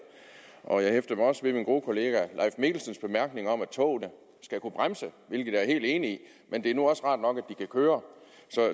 og jeg hæftede mig også ved min gode kollega herre mikkelsens bemærkning om at togene skal kunne bremse hvilket jeg er helt enig i men det er nu også rart nok at de kan køre